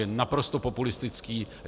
Je naprosto populistický.